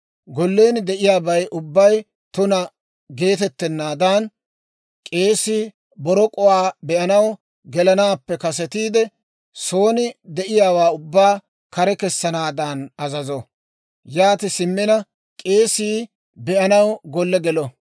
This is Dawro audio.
Gollen de'iyaabay ubbay tuna geetettennaadan, k'eesii borok'uwaa be'anaw gelanaappe kasetiide, son de'iyaawaa ubbaa kare kessanaadan azazo; yaati simmina k'eesii be'anaw golle gelo.